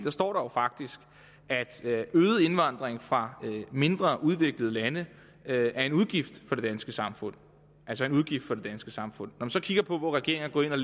står der jo faktisk at øget indvandring fra mindre udviklede lande er en udgift for det danske samfund altså en udgift for det danske samfund når man så kigger på hvor regeringen er